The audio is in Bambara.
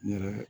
N yɛrɛ